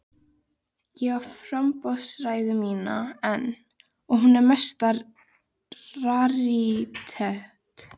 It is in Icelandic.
Ég á framboðsræðuna mína enn og hún er mesta rarítet.